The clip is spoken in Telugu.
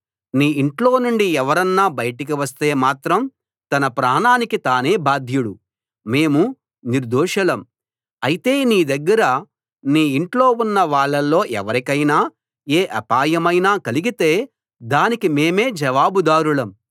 నీ ఇంట్లోనుండి ఎవరన్నా బయటికి వస్తే మాత్రం తన ప్రాణానికి తానే బాధ్యుడు మేము నిర్దోషులం అయితే నీ దగ్గర నీ ఇంట్లో ఉన్న వాళ్ళల్లో ఎవరికైనా ఏ అపాయమైనా కలిగితే దానికి మేమే జవాబుదారులం